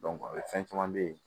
fɛn caman be yen